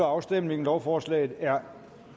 afstemningen lovforslaget er